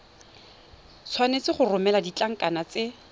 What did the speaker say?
tshwanetse go romela ditlankana tse